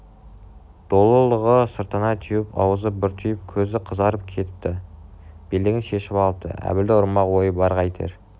долылығы сыртына теуіп аузы бұртиып көзі қызарып кетіпті белдігін шешіп алыпты әбілді ұрмақ ойы бар қайтер